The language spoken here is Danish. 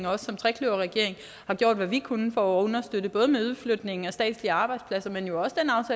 og også som trekløverregering har gjort hvad vi kunne for at understøtte både med udflytningen af statslige arbejdspladser men jo også